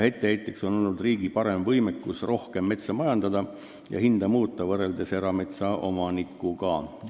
Etteheiteks on olnud riigi parem võimekus metsa majandamisel ja hinna muutmisel võrreldes erametsaomanikuga.